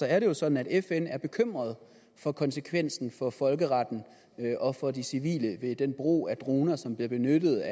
er det jo sådan at fn er bekymret for konsekvensen for folkeretten og for de civile af den brug af droner som bliver benyttet